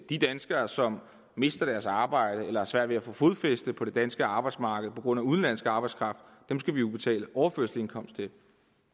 de danskere som mister deres arbejde eller har svært ved at få fodfæste på det danske arbejdsmarked på grund af udenlandsk arbejdskraft skal vi jo betale overførselsindkomst til